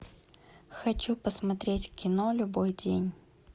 хочу посмотреть кино любой день